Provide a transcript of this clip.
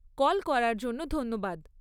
Call করার জন্য ধন্যবাদ।